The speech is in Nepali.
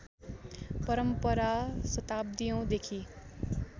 परम्परा शताब्दीयौंदेखि